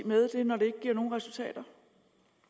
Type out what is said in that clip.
med det når det ikke giver nogen resultater